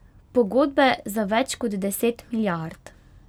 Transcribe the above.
Pogodbe za več kot deset milijard.